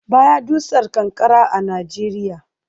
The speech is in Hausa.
Ba ya dusar ƙanƙara a Najeriya